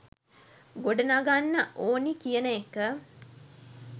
ගොඩනගන්න ඕනි කියන එක